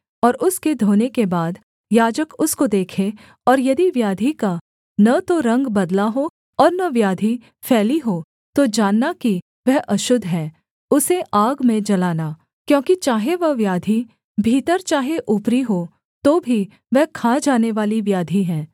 और उसके धोने के बाद याजक उसको देखे और यदि व्याधि का न तो रंग बदला हो और न व्याधि फैली हो तो जानना कि वह अशुद्ध है उसे आग में जलाना क्योंकि चाहे वह व्याधि भीतर चाहे ऊपरी हो तो भी वह खा जानेवाली व्याधि है